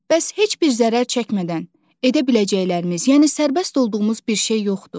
Bəs heç bir zərər çəkmədən edə biləcəklərimiz, yəni sərbəst olduğumuz bir şey yoxdur?